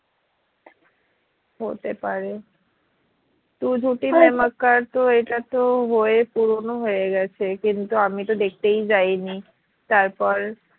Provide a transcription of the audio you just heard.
হতে পারে তু তো এটা তো হয়ে পুরোনো হয়ে গেছে কিন্তু আমিতো দেখতেই যাইনি তারপর